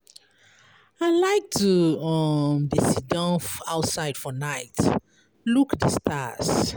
I like to um dey siddon outside for night, look di stars.